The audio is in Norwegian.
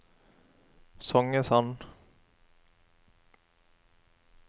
Songesand